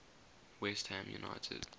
west ham united